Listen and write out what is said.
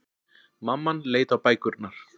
Mamman leit á bækurnar.